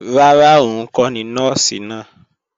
Rárá, òun kọ́ ni Nọ́ọ̀sì náà